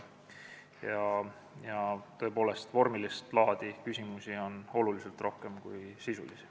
Vormilist laadi küsimusi oli tõepoolest oluliselt rohkem kui sisulisi.